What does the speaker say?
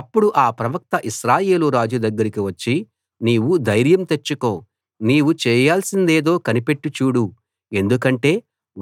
అప్పుడు ఆ ప్రవక్త ఇశ్రాయేలు రాజు దగ్గరికి వచ్చి నీవు ధైర్యం తెచ్చుకో నీవు చేయాల్సిందేదో కనిపెట్టి చూడు ఎందుకంటే